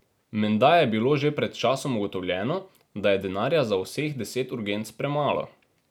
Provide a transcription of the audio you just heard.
Menda je bilo že pred časom ugotovljeno, da je denarja za vseh deset urgenc premalo.